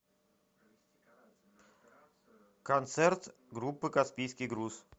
концерт группы каспийский груз